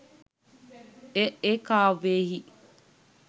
එය ඒ කාව්‍යයෙහි